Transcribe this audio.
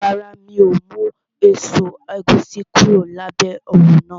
Rárá, mi ò mú èso ẹ̀gúsí kúrò lábẹ́ òrùn náà